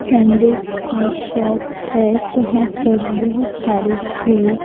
sandals की shop है जहां पर बहुत सारे शूज --